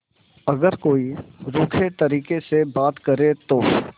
अगर कोई रूखे तरीके से बात करे तो